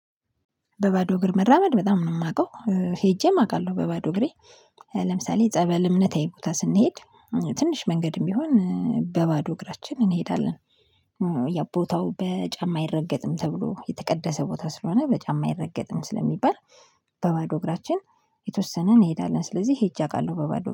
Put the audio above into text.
በባዶ እግር መራመድ በጣም ነው የማውቀው ሄጄም አውቃለሁ በባዶ እግሬ ለምሳሌ ጸበል እምነታዊ ቦታ ስንሄድ ትንሽ መንገድም ቢሆን በባዶ እግራችን እንሄዳለን። ያው ቦታው በጫማ አይረገጥም ተብሎ የተቀደሰ ቦታ ስለሆነ በጫማ አይረገጥም ስለሚባል በባዶ እግራችን የተወሰነ እንሄዳለን ስለዚህ ሄጄ አውቃለሁ። በባዶ